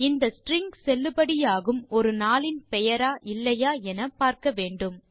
இந்த ஸ்ட்ரிங் செல்லுபடியாகும் ஒரு நாளின் பெயரா இல்லையா என பார்க்க வேண்டும்